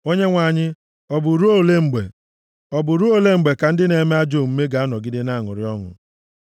Onyenwe anyị, ọ bụ ruo ole mgbe? Ọ bụ ruo ole mgbe ka ndị na-eme ajọ omume ga-anọgide na-aṅụrị ọṅụ?